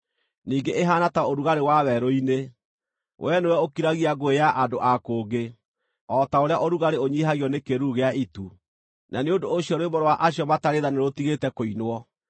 ningĩ ĩhaana ta ũrugarĩ wa werũ-inĩ. Wee nĩwe ũkiragia ngũĩ ya andũ a kũngĩ o ta ũrĩa ũrugarĩ ũnyiihagio nĩ kĩĩruru gĩa itu, na nĩ ũndũ ũcio rwĩmbo rwa acio matarĩ tha nĩrũtigĩte kũinwo.